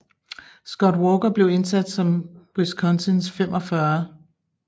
Scott Walker blev indsat som Wisconsins 45